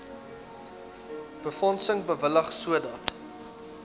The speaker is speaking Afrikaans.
befondsing bewillig sodat